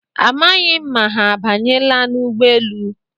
Amaghị m ma ha abanyela n'ụgbọelu